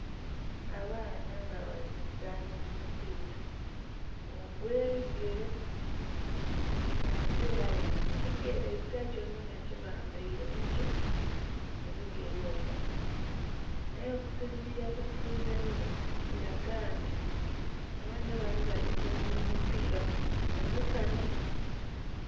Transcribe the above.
Abaana nga bali zaana omupiira ogw'ebigere nga ate ela bali mu bigere, ezila kyonakyona kyebabaile muki? mubigere omwo. Ela okusinzira ku kinzenze kilaga nti abaana bano bali zanila omupiira guno mu musana.